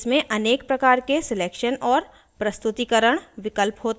इसमें अनेक प्रकार के selection और प्रस्तुतीकरण विकल्प होते हैं